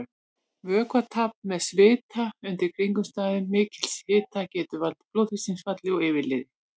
Vökvatap með svita undir kringumstæðum mikils hita getur valdið blóðþrýstingsfalli og yfirliði.